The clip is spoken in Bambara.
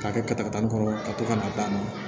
K'a kɛ kɔnɔ ka to ka na d'a ma